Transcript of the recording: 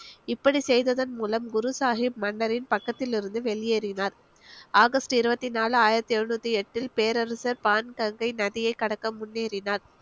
இப்படி செய்ததன் மூலம் குருசாஹிப் மன்னரின் பக்கத்திலிருந்து வெளியேறினார் ஆகஸ்ட் இருவத்தி நாலு ஆயிரத்தி எழுநூத்தி எட்டில் பேரரசர் பான் கங்கை நதியை கடக்க முன்னேறினார்